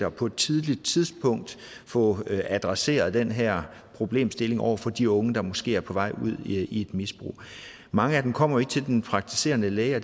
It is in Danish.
og på et tidligt tidspunkt få adresseret den her problemstilling over for de unge der måske er på vej ud i et misbrug mange af dem kommer jo ikke til den praktiserende læge og